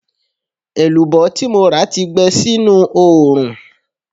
Èlùbọ́ tí mo rà ti gbẹ sínú oòrùn